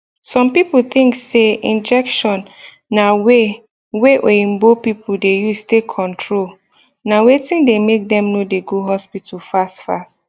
some people think say injection na way wey oyinbo people dey use take control na wetin de make dem no de go hospital fast fast